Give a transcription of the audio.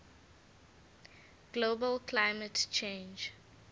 global climate change